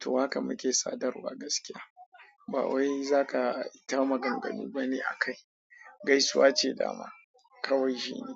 To haka muke sadarwa gaskiya. Ba wai za ka ta maganganu bane a kai. Gaisuwa ce dama, kawai shine.